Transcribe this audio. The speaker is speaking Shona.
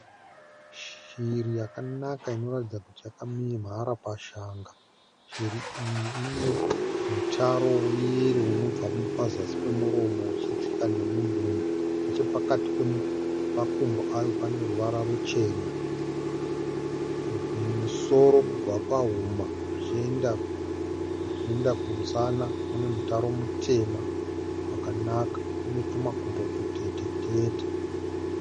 Shiri yakanaka inoratidza kuti yakamhara pashanga. Shiri iyi ine mutaro weyero unobva pazasi pemuromo uchidzika nemudumbu. Nechepakati pemakumbo ayo pane ruvara ruchena. Mumusoro, kubva pahuma zvichienda kumusana mune mutaro mutema wakanaka. Ine tumakumbo tutetetete.